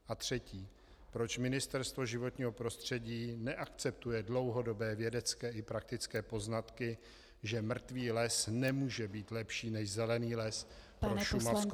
A třetí: roč Ministerstvo životního prostředí neakceptuje dlouhodobé vědecké i praktické poznatky, že mrtvý les nemůže být lepší než zelený les pro šumavskou přírodu?